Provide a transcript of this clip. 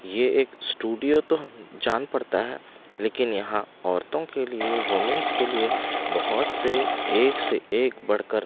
ये एक स्टूडियो तो जान पड़ता है लेकिन यहाँ औरतों के लिए वूमेंस के लिए बहुत से एक से एक बढ़कर --